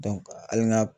hali n ka